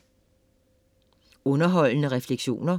Underholdende refleksioner